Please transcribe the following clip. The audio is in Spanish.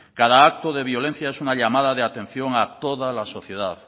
cada acto de violencia es una llamada de atención a toda la sociedad